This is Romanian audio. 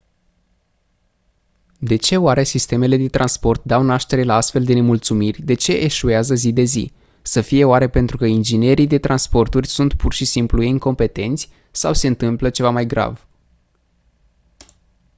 de ce oare sistemele de transport dau naștere la astfel de nemulțumiri de ce eșuează zi de zi să fie oare pentru că inginerii de transporturi sunt pur și simplu incompetenți sau se întâmplă ceva mai grav